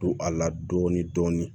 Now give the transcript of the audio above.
Don a la dɔɔni dɔɔni dɔɔni